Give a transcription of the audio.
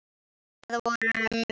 Og það vorum við.